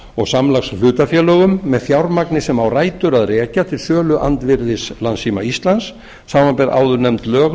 og samlagshlutafélögum með fjármagni sem á rætur að rekja til söluandvirðis landssíma íslands samanber áðurnefnd lög